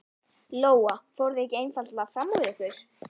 Lóa: Fóruð þið ekki einfaldlega fram úr ykkur?